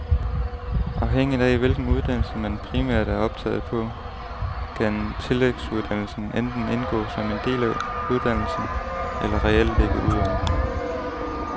Afhængigt af hvilken uddannelse man primært er optaget på, kan tillægsuddannelsen enten indgå som en del af uddannelsen eller reelt ligge udover.